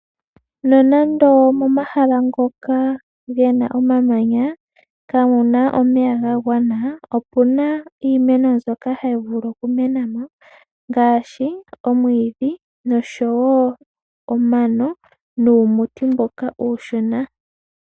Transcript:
Nonando momahala ngoka ge na omamanya kamuna omeya ga mgwana, opucna iimeno mbyoka hayi vulu okumena mo ngaashi omwiidhi nosho woo omano nuumuti mboka uushona.